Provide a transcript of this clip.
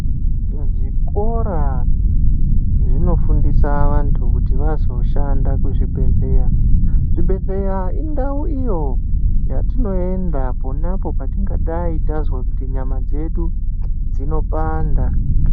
Mu zvikora zvino fundisa vantu kuti vazo shanda ku zvibhedhlera zvi bhedhleya indau iyo yatino enda ponapo patingadai tazwa kuti nyama dzedu dzino panda.